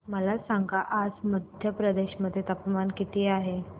मला सांगा आज मध्य प्रदेश मध्ये तापमान किती आहे